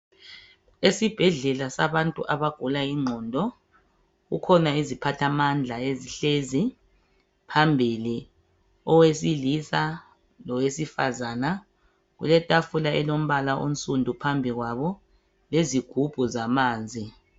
Esibhedlela sabantu abagula ingqondo kukhona iziphathamandla ezihlezi phambili, owesilisa lowesifazana. Kuletafula elombala onsundu phambili kwabo lezigubhu zamanzi.